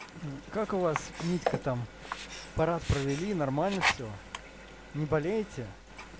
как у вас митька там парад провели нормально всё не болеете